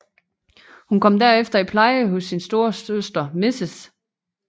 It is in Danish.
Hun kom derefter i pleje hos sin storesøster Mrs